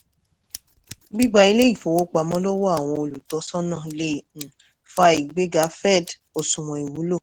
gbígba ilé ìfowópamọ́ lọ́wọ́ àwọn olùtọ́sọ́nà le um] fa ìgbéga òsùwọ̀n